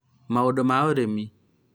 maũndũ ma ũrĩmi